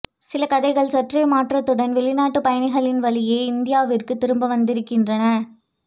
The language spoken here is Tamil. சில கதைகள் சற்றே மாற்றத்துடன் வெளிநாட்டு பயணிகளின் வழியே இந்தியாவிற்கு திரும்பி வந்திருக்கின்றன